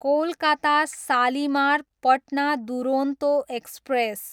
Kolkata Shalimar, Patna Duronto express